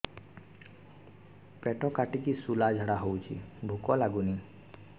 ପେଟ କାଟିକି ଶୂଳା ଝାଡ଼ା ହଉଚି ଭୁକ ଲାଗୁନି